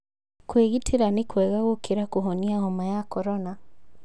Kwĩgitĩra nĩ kwega gũkĩra kũhonia homa ya korona